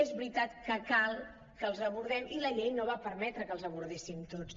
és veritat que cal que els abordem i la llei no va permetre que els abordéssim tots